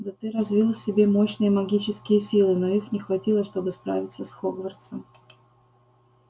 да ты развил в себе мощные магические силы но их не хватило чтобы справиться с хогвартсом